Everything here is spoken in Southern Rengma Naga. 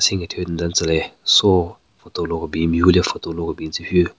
Senkethyu nyu den tsü le soo photo lo kebin mehvu le photo lo kebin tsü hyu.